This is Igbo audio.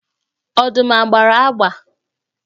Ọdụm a gbara agba?